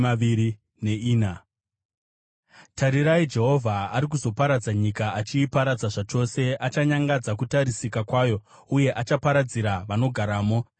Tarirai, Jehovha ari kuzoparadza nyika achiiparadza zvachose; achanyangadza kutarisika kwayo uye achaparadzira vanogaramo,